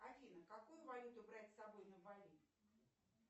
афина какую валюту брать с собой на бали